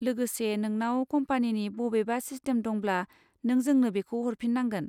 लोगोसे नोंनाव कम्पानिनि बबेबा सिस्टेम दंब्ला नों जोंनो बेखौ हरफिननांगोन।